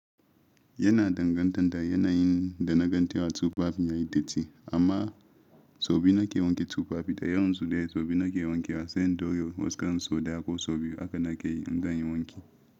Yana danganta da yanayin da na gantuwa tsofaffin ya yi datti, amma sau biyu na ke wanke tufafi, da yawan su dai sau biyu na ke wanke wasu indori, waskan so da ko sau biyu aka nakeyi in gani wanki.